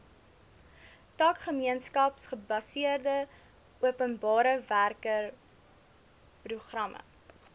tak gemeenskapsgebaseerde openbarewerkeprogramme